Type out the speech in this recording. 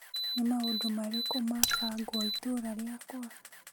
Nĩ maũndũ marĩkũ mabangwo itũra rĩakwa ?